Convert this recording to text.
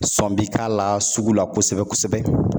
Sɔn bi k'a la sugu la kosɛbɛ kosɛbɛ.